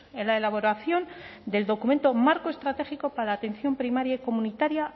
en la elaboración del documento marco estratégico para la atención primaria y comunitaria